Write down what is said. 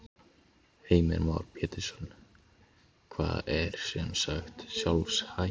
Heimir Már Pétursson: Það er sem sagt sjálfhætt?